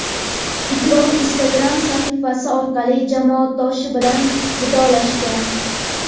Ikrom Instagram sahifasi orqali jamoadoshi bilan vidolashgan.